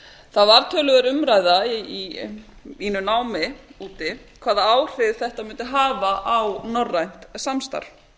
það varð töluverð umræða í mínu námi úti hvaða áhrif þetta mundi hafa á norrænt samstarf